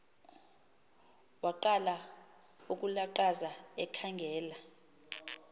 waqala ukulaqaza ekhangela